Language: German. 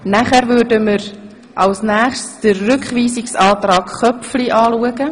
Danach würden wir den Rückweisungsantrag Köpfli diskutieren.